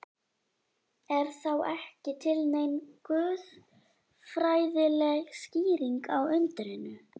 Er þá ekki til nein guðfræðileg skýring á undrinu?